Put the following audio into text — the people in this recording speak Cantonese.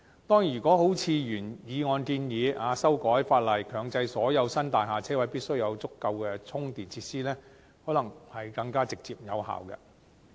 當然，如果如原議案的建議，修改法例強制所有新大廈車位必須有足夠充電設施，可能會更直接有效。